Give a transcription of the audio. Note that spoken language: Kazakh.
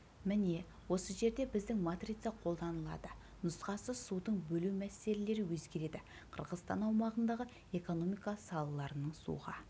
міне осы жерде біздің матрица қолданылады нұсқасы суды бөлу мәселелері өзгереді қырғызстан аумағындағы экономика салаларының суға